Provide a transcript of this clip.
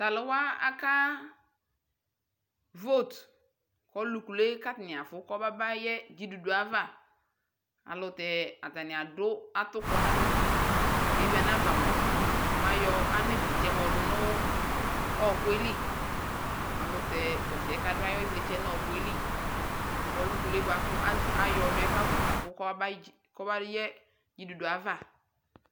Taluwa akavote Ɔlu kuluekafu kɔmabayɛ ɖʒiɖuɖue kama alutɛ ataniadu atukɔ nalɛ kewi anavamua mayɔ anivlitsɛ yɔdunu ɔɔkuɛli alutɛ tɔsiɛ kaduayivliɛ nɔkuɛli kɔbayɛ ɖʒiɖuɖue kama